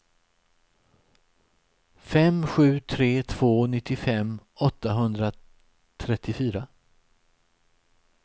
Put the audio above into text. fem sju tre två nittiofem åttahundratrettiofyra